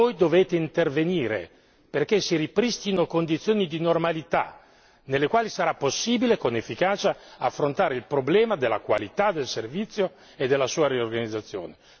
Voi dovete intervenire perché si ripristino condizioni di normalità nelle quali sarà possibile con efficacia affrontare il problema della qualità del servizio e della sua riorganizzazione.